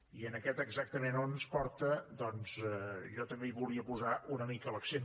i en aquest exactament a on ens porta doncs jo també hi volia posar una mica l’accent